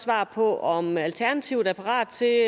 svar på om alternativet er parat til at